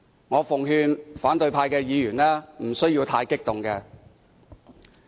我奉勸反對派的議員無須太激動。